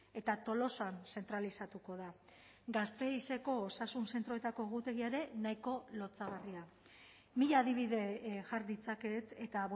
eta tolosan zentralizatuko da gasteizeko osasun zentroetako egutegia ere nahiko lotsagarria mila adibide jar ditzaket eta